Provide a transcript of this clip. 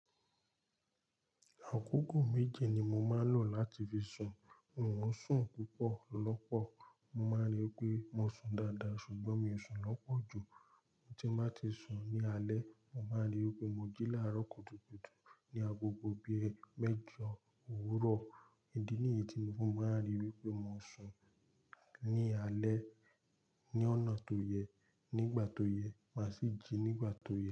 Àkókò méje ni mo máa ń lò láti fi sùn. N ò ún sùn púpọ̀ lọ́pọ̀. Mo máa ń rí i pé mo sùn dáadáa ṣùgbọ́n mo sùn lọ́pọ̀ ju tí mo bá ti sùn ní alẹ́. Mo máa ń rí i pé mo jí láàárọ̀ kùtùkùtù ní agbogbo bí i mẹ́jọ òwúrọ̀. Ní ìdí nìyí ni mo máa ń rí i wípé mo sùn ní alẹ́ ní ọ̀nà tó yẹ, nígbà tó yẹ má sì jí nígbà tó yẹ.